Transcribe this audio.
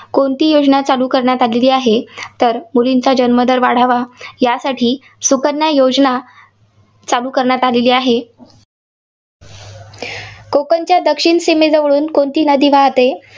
कोणती योजना चालू करण्यात आलेली आहे? तर मुलींचा जन्मदर वाढवा यासाठी सुकन्या योजना चालू करण्यात आलेली आहे. कोकणच्या दक्षिण सीमेजवळून कोणती नदी वाहते?